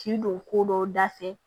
K'i don ko dɔ da fɛ